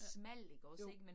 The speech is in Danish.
Ja, jo